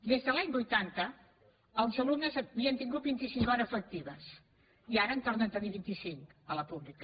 des de l’any vuitanta els alumnes havien tingut vint i cinc hores lectives i ara en tornen a tenir vint i cinc a la pública